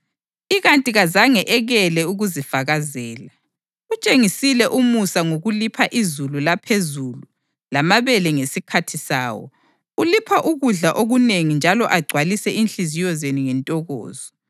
Ikanti kazange ekele ukuzifakazela: Utshengisile umusa ngokulipha izulu laphezulu lamabele ngesikhathi sawo; ulipha ukudla okunengi njalo agcwalise inhliziyo zenu ngentokozo.”